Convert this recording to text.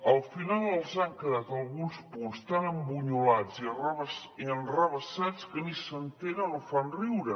al final els han quedat alguns punts tan embunyolats i enrevessats que ni s’entenen o fan riure